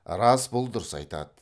рас бұл дұрыс айтады